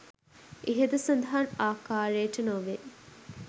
ඉහත සඳහන් ආකාරයට නොවේ.